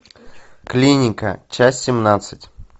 клиника часть семнадцать